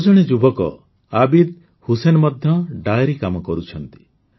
ଆଉ ଜଣେ ଯୁବକ ଆବିଦ ହୁସୈନ ମଧ୍ୟ ଡେୟରି କାମ କରୁଛନ୍ତି